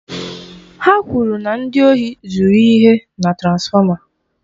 Ha kwụrụ na ndị ohi zuru ihe na transfọma.